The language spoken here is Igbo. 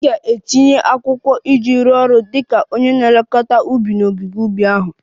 M ga-etinye akwụkwọ iji rụọ ọrụ dị ka onye na-elekọta ubi n'ogige ubi ahụ